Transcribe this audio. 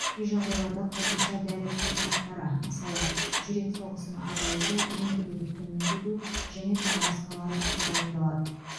кей жағдайларда қосымша дәрі препараттары мысалы жүрек соғысын азайту ентігуді төмендету және тағы басқалары тағайындалады